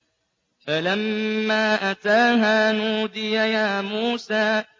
فَلَمَّا أَتَاهَا نُودِيَ يَا مُوسَىٰ